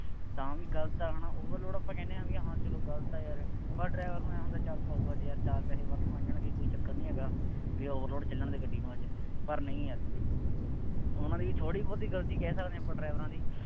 ਤਾਂ ਵੀ ਗਲਤ ਆ ਹੈ ਨਾ overload ਆਪਾਂ ਕਹਿੰਦੇ ਹਾਂ ਬਈ ਹਾਂ ਚੱਲੋ ਗਲਤ ਹੈ ਯਾਰ, ਪਰ driver ਨੂੰ ਆਂਏਂ ਹੁੰਦਾ ਚੱਲ ਪਊਆ ਜਿਹਾ, ਚਾਰ ਪੈਸੇ ਵੱਧ ਬਣ ਜਾਣਗੇ। ਕੋਈ ਚੱਕਰ ਨਹੀਂ ਹੈਗਾ। ਬਈ overload ਚੱਲਣ ਦੇ ਗੱਡੀ ਨੂੰ. ਪਰ ਨਹੀਂ ਯਾਰ ਉਹਨਾ ਦੀ ਥੋੜ੍ਹੀ ਬਹੁਤੀ ਗਲਤੀ ਕਹਿ ਸਕਦੇ ਹਾਂ ਆਪਾਂ ਡਰਾਈਵਰਾਂ ਦੀ।